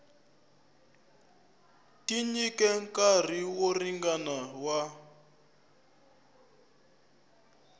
tinyike nkarhi wo ringana wa